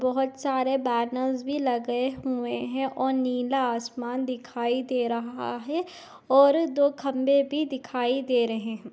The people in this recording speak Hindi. बहुत सारे बेनर्स भी लगे हुए है और नीला आसमान दिखाई दे रहा है और दो खंभे भी दिखाई दे रहे है।